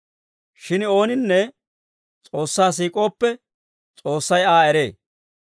Shin ooninne S'oossaa siik'ooppe, S'oossay Aa eree.